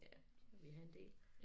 Ja vi havde en del